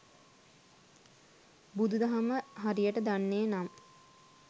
බුදු දහම හරියට දන්නේ නම්